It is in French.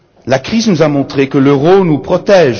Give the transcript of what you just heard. La crise nous a montré que l'euro nous protège.